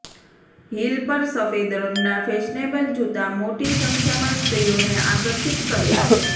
heel પર સફેદ રંગના ફેશનેબલ જૂતા મોટી સંખ્યામાં સ્ત્રીઓને આકર્ષિત કરે છે